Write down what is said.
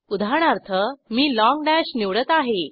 उदाहरणार्थ मी long dash निवडत आहे